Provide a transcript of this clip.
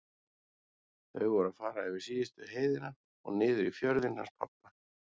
Þau voru að fara yfir síðustu heiðina og niður í fjörðinn hans pabba.